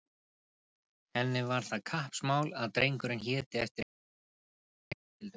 Henni var það kappsmál að drengurinn héti eftir einhverjum í sinni fjölskyldu.